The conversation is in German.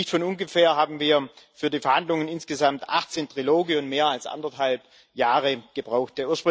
Nicht von ungefähr haben wir für die Verhandlungen insgesamt 18 Triloge und mehr als anderthalb Jahre gebraucht.